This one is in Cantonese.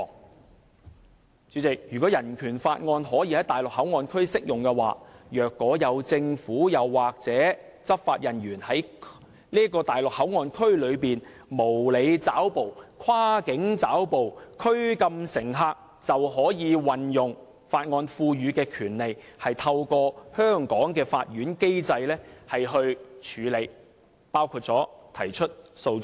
"代理主席，如果《人權法案條例》可以在內地口岸區適用，若有政府或執法人員在內地口岸區內無理抓捕、跨境抓捕及拘禁乘客，就可以運用《人權法案條例》賦予的權利，透過香港的法院機制處理，包括提出訴訟。